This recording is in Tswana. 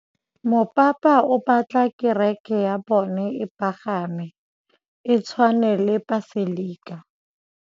Mopapa o batla kereke ya bone e pagame, e tshwane le paselika.